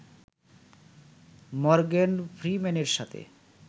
Morgan ফ্রিম্যানের সাথে